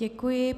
Děkuji.